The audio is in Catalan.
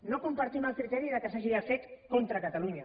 no compartim el criteri que s’hagi fet contra catalunya